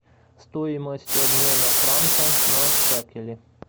стоимость обмена франка на шекели